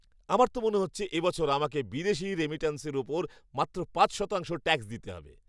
আমার তো মনে হচ্ছে এ বছর আমাকে বিদেশী রেমিটান্সের উপর মাত্র পাঁচ শতাংশ ট্যাক্স দিতে হবে!